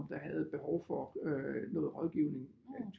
Der havde et behov for øh noget rådgivning